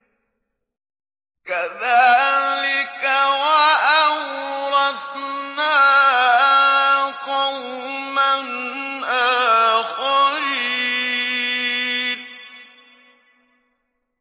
كَذَٰلِكَ ۖ وَأَوْرَثْنَاهَا قَوْمًا آخَرِينَ